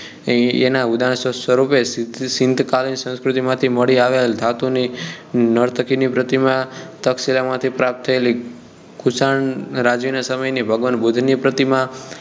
એનાં ઉદાહરણ સ્વરૂપે સીન્ધકાળ સંસ્કૃતિ માંથી મળી આવેલ ધાતુ ની નર્તકી ની પ્રતિમા તર્કશીલ માંથી પ્રાપ્ત થયેલી ખુશાલ રાજ નાં સમય ની ભગવાન બુદ્ધ ની પ્રતિમા